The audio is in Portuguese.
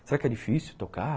Será que é difícil tocar?